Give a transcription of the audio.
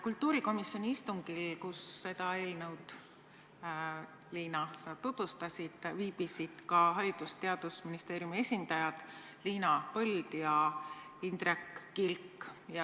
Kultuurikomisjoni istungil, kus sa seda eelnõu, Liina, tutvustasid, viibisid ka Haridus- ja Teadusministeeriumi esindajad Liina Põld ja Indrek Kilk.